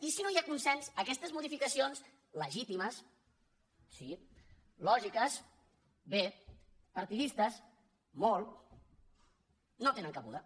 i si no hi ha consens aquestes modificacions legítimes sí lògiques bé partidistes molt no tenen cabuda